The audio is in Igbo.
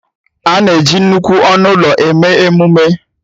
A na-eji nnukwu ọnụ ụlọ eme emume